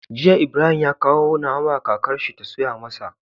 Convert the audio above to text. Jiya Ibrahim ya kawo nama kakar shi ta soya masa